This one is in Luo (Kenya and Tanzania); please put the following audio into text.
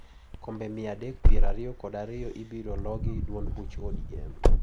Kombe mia adek piero ariyo kod ariyo ibiroloo gi duond buch ODM.